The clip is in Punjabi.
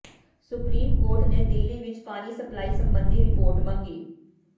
ਸੁਪਰੀਮ ਕੋਰਟ ਨੇ ਦਿੱਲੀ ਵਿੱਚ ਪਾਣੀ ਸਪਲਾਈ ਸਬੰਧੀ ਰਿਪੋਰਟ ਮੰਗੀ